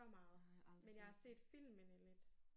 Jeg har aldrig set det